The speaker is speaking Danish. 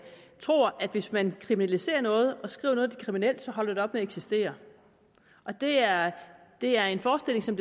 tror at hvis man kriminaliserer noget og skriver at kriminelt så holder det op med at eksistere det er det er en forestilling som